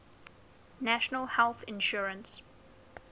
national health insurance